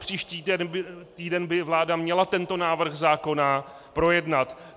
Přespříští týden by vláda měla tento návrh zákona projednat.